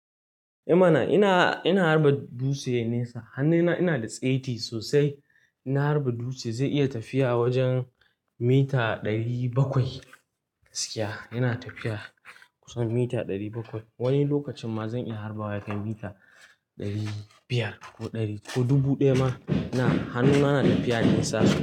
Eh mana! Ina, ina harba dutse nesa. Hannuna ina da saiti sosai. Ina harba dutse zai iya tafiya wajen mita ɗari bakwai gaskiya. Yana tafiya kusan mita ɗari bakwai. Wani lokacin ma zan iya harba wa yakan mita ɗari biyar ko ɗari ko dubu ɗaya ma. Na, hannuna na tafiya nesa sosai.